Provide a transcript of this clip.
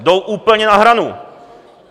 Jdou úplně na hranu!